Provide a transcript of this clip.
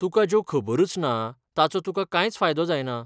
तुकां ज्यो खबरुच ना तांचो तुकां कांयच फायदो जायना.